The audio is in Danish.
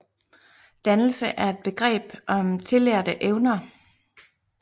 Dannelse er et begreb om tillærte evner